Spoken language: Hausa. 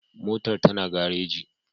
Motar ta na gareji